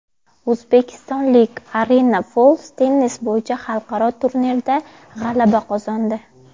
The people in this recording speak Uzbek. O‘zbekistonlik Arina Fols tennis bo‘yicha xalqaro turnirda g‘alaba qozondi.